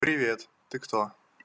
привет ты кто